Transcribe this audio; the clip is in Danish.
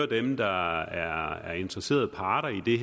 dem der er interesserede parter i